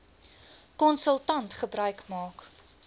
konsultant gebruik maak